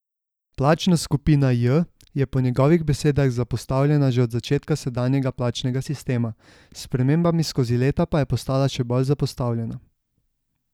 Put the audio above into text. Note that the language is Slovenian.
Plačna skupina J je po njegovih besedah zapostavljena že od začetka sedanjega plačnega sistema, s spremembami skozi leta pa je postala še bolj zapostavljena.